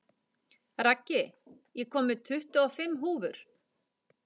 Raggi, ég kom með tuttugu og fimm húfur!